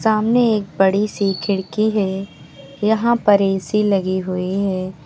सामने एक बड़ी सी खिड़की है यहां पर ए_सी लगी हुई है।